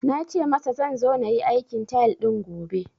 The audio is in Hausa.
Na ce masa zan zo na yi aikin tile din gobe